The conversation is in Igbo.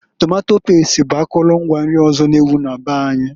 Tomato past bụ akụlụ ngwa nri ọzọ n'ewu na be anyị.